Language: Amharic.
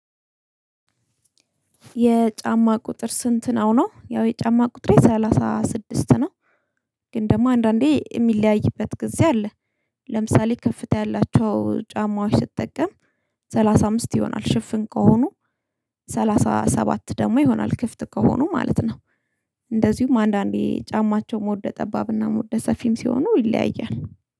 የጫማ ቁጥር ስንት ነው ነው ያው የጫማ ቁጥሬ ሰላሳ ስድስት ነው። ግን ደግሞ አንዳንዴ እሚለያይበት ጊዜ አለ። ለምሳሌ ከፍታ ያላቸው ጫማዎች ስትጠቀም ሰላሳ አምስት ይሆናል ሽፍን ከሆኑ ሰላሳ ሰባት ደግሞ ይሆናል ክፍት ከሆኑ ማለት ነው። እንደዚሁም አንዳንዴ ጫማቸው ሞደ ጠባብና ሞደ ሰፊም ሲሆኑ ይለያያል